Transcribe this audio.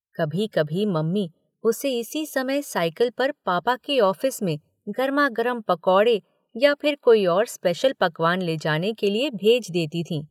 कभी-कभी मम्मी उसे इसी समय साइकिल पर पापा के ऑफिस में गरमा-गरम पकौड़े या फिर कोई और स्पेशल पकवान ले जाने के लिए भेज देती थीं।